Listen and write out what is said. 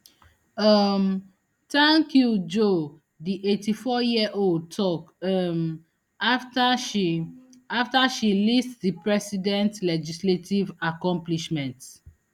um tank you joe di eighty-fouryearold tok um afta she afta she list di president legislative accomplishments